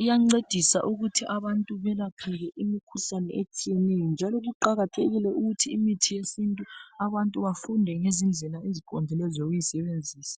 iyancedisa ukuthi abantu belapheke imkhuhlane etshiyeneyo. Njalo kuqakathekile ukuthi imithi yesintu abantu bafunde ngezindlela eziqondileyo zokuyisebenzisa.